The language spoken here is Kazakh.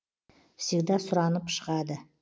всегда сұранып шығады